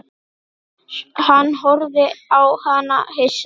Hann horfði á hana hissa.